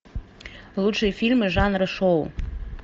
лучшие фильмы жанра шоу